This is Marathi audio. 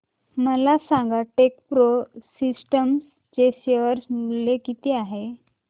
मला सांगा टेकप्रो सिस्टम्स चे शेअर मूल्य किती आहे